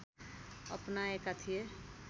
अपनाएका थिए